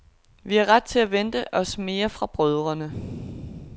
Vi har ret til at vente os mere fra brødrene.